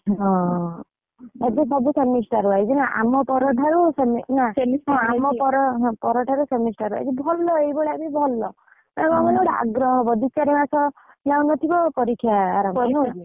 ହଁ, ଏବେ ସବୁ semester ବା ଏଇକ୍ଷଣି ଆମପର ଠାରୁ semester ଭଲ ଏଇଭଳିଆ ଅଛି ଭଲ ମାନେ କଣ କହିଲେ ଆଗ୍ରହ ହବ। ଦି ଚାରି ମାସ ଯାଇନଥିବ ପରୀକ୍ଷା ହବ।